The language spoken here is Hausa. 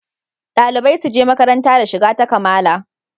Dalibai suje makaranta da shiga ta kamala